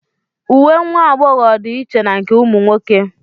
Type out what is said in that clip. Uwe nwa agbọghọ dị iche na nke ụmụ nwoke